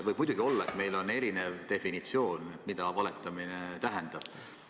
Võib muidugi olla, et meil on erinev arusaam, mida valetamine tähendab.